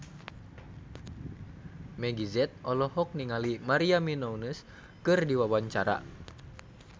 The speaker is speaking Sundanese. Meggie Z olohok ningali Maria Menounos keur diwawancara